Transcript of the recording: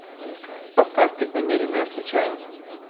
поставь преднамеренная случайность